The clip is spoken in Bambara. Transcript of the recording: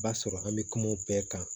B'a sɔrɔ an bɛ kuma o bɛɛ kan